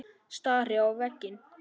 Stari á veginn.